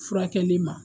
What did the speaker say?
Furakɛli ma